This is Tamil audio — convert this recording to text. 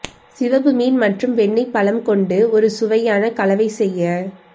சிவப்பு மீன் மற்றும் வெண்ணெய் பழம் கொண்டு ஒரு சுவையான கலவை செய்ய